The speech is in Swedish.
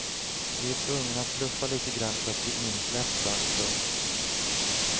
Vi är tvungna att bluffa lite grann för att bli insläppta. punkt